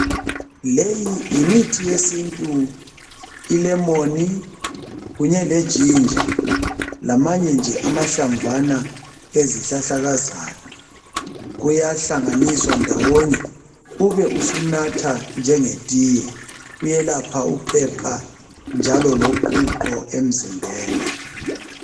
Leyi yimithi yesintu ilemon kunye leginger lamanye nje amahlamvana ezihlahlakazana kuyahlanganiswa ndawonye ube usunatha njenge tiye kuyelapha uphepha njalo loqhuqho emzimbeni.